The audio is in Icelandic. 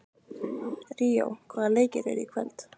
Ríó, hvaða leikir eru í kvöld?